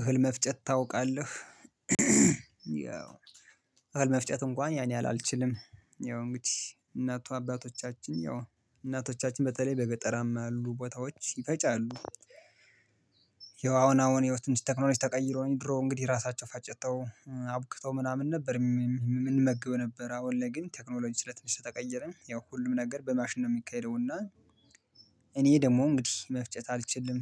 እህል መፍጨት ታውቃለህ ያው እህል መፍጨት እንኳን ያን ያህል አልችልም ያው እንግዲህ እናቱ አባቶቻችን ያው እናቶቻችን በተለይ በገጠራማ ያሉ ቦታዎች ይፈጫሉ። ያው አሁን አሁን ህይወት ትንሽ ቴክኖሎጂ ተቀይሮኝ ድሮ እንግዲህ ራሳቸው ፈጨተው አቡክተው ምናምን ነበር የምንመገበው የነበር አሁን ላይ ግን ቴክኖሎጂ ስለ ትንሽ ስለተቀየረ ያው ሁሉም ነገር በማሽን ነው የሚካሄደው እና እኔ ደግሞ እንግዲህ መፍጨት አልችልም።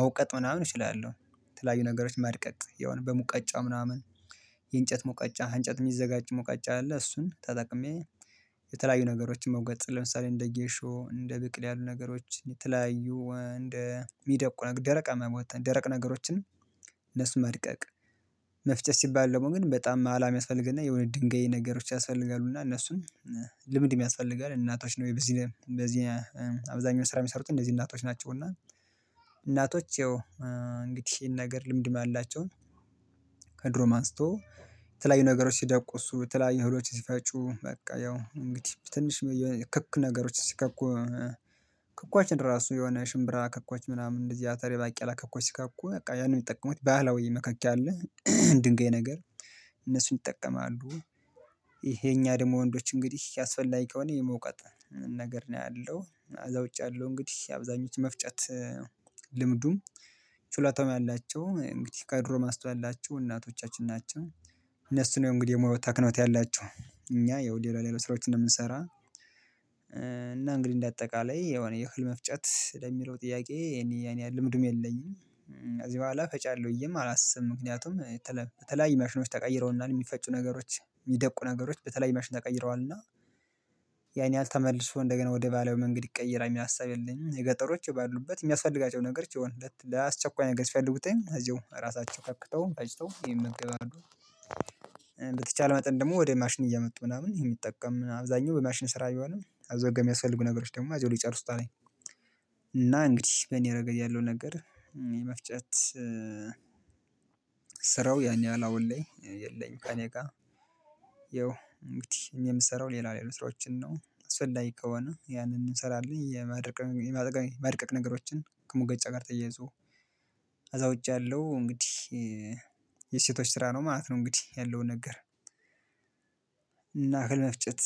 መውቀጥ ምናምን እችላለሁ የተለያዩ ነገሮች ማድቀቅ የሆነ በሙቀጫ ምናምን የእንጨት መውቀጫ አንጨት የሚዘጋጅ መውቀጫ አለ። እሱን ተጠቅሜ የተለያዩ ነገሮችን መውቀጥ ለምሳሌ እንደ ጌሾ እንደ ብቅል ያሉ ነገሮች የተለያዩ እንደ የሚደቁ ነገር ደረቅማ የሆኑትን ደረቅ ነገሮችን። እነሱ መድቀቅ መፍጨት ሲባል ደግሞ ግን በጣም ማላም ያስፈልግና የሆነ ድንጋይ ነገሮች ያስፈልጋሉ እና እነሱን ልምድም ያስፈልጋል። እናቶች ነው በዚህ በዚህ አብዛኛው ስራ የሚሰሩት እንደዚህ እናቶች ናቸውና። እናቶች ያው እንግዲህ ይሄን ነገር ልምድም ያላቸውን። ከድሮ ማንስቶ ተለያዩ ነገሮች ሲደቁ እሱ ተለያዩ ህሎች ሲፈጩ በቃ ያው እንግዲህ ትንሽ ክክ ነገሮች ሲከኩ። ክኮችን ራሱ የሆነ ሽምብራ ክኳች ምናምን እንደዚህ አተሬ ባቂላ አላክኳቸው ሲካኩ በቃ ያንን የሚጠቀሙት ባህላዊ መካከክ አለ። ድንጋይ ነገር እነሱን ይጠቀማሉ። ይሄ የኛ ደግሞ ወንዶች እንግዲህ ያስፈላጊ ከሆነ የመውቀት ነገር ነው ያለው አዛውጭ ያለው እንግዲህ አብዛኞቹ መፍጨት። ልምዱም ችሎታውም ያላቸው እንግዲህ ከድሮ ማስታወቂያ ያላቸው እናቶቻችን ናቸው። እነሱ ነው እንግዲህ የሙሉ ወታክኖት ያላቸው እኛ ይኸው ሌላ ሌሎች ስራዎች እንደምንሰራ። እና እንግዲህ እንደ አጠቃላይ የሆነ የህል መፍጨት ለሚለው ጥያቄ የኔ ያኔ ልምድም የለኝም። ከዚህ በኋላ ፈጫለሁ ብዬም አላስብም። ምክንያቱም የተለያዩ መሽኖች ተቀይረውና የሚፈጩ ነገሮች የሚደቁ ነገሮች በተለይ ማሽን ተቀይረዋልና። ያን ያህል ተመልሶ እንደገና ወደ ባህላዊ መንገድ ይቀየራል የሚል ሀሳብ የለኝም። የገጠሮች የባሉበት የሚያስፈልጋቸውን ነገር ሲሆን ለአስቸኳይ ነገር ሲፈልጉት እዚሁ እራሳቸው ከክተው ፈጭተው ይመገባሉ። በተቻለ መጠን ደግሞ ወደ ማሽን እየመጡ ምናምን እየመጡ ቢጠቀሙ በአብዛኛው በማሽን ስራ ቢሆንም አዘጋጅተው የሚያስፈልጉ ነገሮች ደግሞ አዘጋጅተው ሊጨርሱት አለኝ። እና እንግዲህ በእኔ ረገድ ያለው ነገር የመፍጨት ስራው ያን ያህል አሁን ላይ የለኝም። ከእኔ ጋር ያው እንግዲህ የምሰራው ሌላ ሌላ ነው ስራዎችን ነው እስፈላጊ ከሆነ ያንን እንሰራለን። የማድቀቅ የማድቀቅ ነገሮችን ከሙቀጫ ጋር ተያይዞ ከዛ ውጪ ያለው እንግዲህ የሴቶች ስራ ነው ማለት ነው። እንግዲህ ያለውን ነገር እና እህል መፍጨት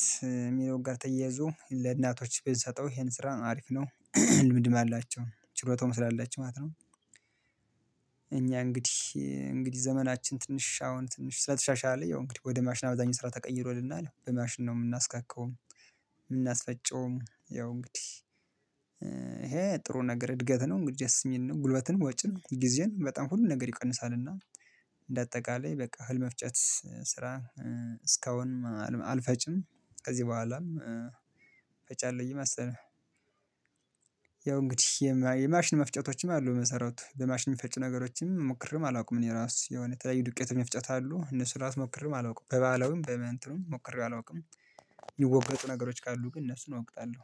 የሚለውን ጋር ተያይዞ ለእናቶች ቢሰጠው ይሄን ስራ አሪፍ ነው። ልምድም አላቸው ችሎታውም ስላላቸው ማለት ነው። እኛ እንግዲህ እንግዲህ ዘመናችን ትንሽ አሁን ትንሽ ስለተሻሻለ ያው እንግዲህ ወደ ማሽን አብዛኛው ስራ ተቀይሮልናል በማሽን ነው የምናስከካውም የምናስፈጨውም ያው እንግዲህ ይሄ ጥሩ ነገር እድገት ነው ደስ የሚል ነው። ጉልበትን ወጪ ነው ጊዜን በጣም ሁሉም ነገር ይቀንሳል። እና እንደ አጠቃላይ በቃ እህል መፍጨት ስራ እስካሁን አልፈጭም። ከዚህ በኋላም ፈጫለሁኝ መሰለኝ። ያው እንግዲህ የማሽን መፍጨቶችም አሉ መሰራት በማሽን መፍጨት ነገሮችም ሞክርም አላውቅም እኔ ራሱ የሆነ የተለያዩ ዱቄት መፍጨት አሉ እነሱን እራሱ ሞክሬም አላውቅም በባህላዊም በምንእንትንም ሞክሬ አላውቅም። የሚወቀጡ ነገሮች ካሉ ግን እነሱን እወቅጣለሁ